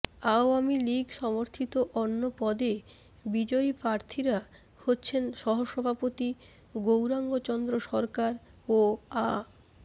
আওয়ামী লীগ সমর্থিত অন্য পদে বিজয়ী প্রার্থীরা হচ্ছেন সহসভাপতি গৌরাঙ্গ চন্দ্র সরকার ও আ